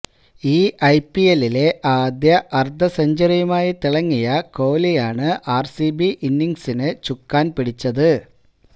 ഈ ഐപിഎല്ലിലെ ആദ്യ അർദ്ധസെഞ്ചുറിയുമായി തിളങ്ങിയ കോഹ്ലിയാണ് ആർസിബി ഇന്നിംഗ്സിന് ചുക്കാൻ പിടിച്ചത്